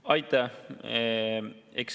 Aitäh!